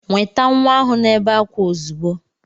Nweta nwa ahu na-ebe akwa ozugbo.